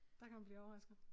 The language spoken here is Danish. Der kan man blive overrasket